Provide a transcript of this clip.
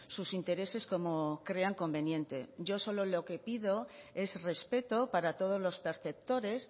sus intereses como crean conveniente yo solo lo que pido es respeto para todos los perceptores